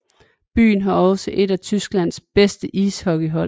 Byen har også et af Tysklands bedste ishockeyhold